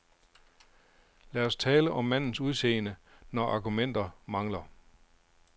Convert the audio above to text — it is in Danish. Lad os tale om mandens udseende, når argumenter mangler.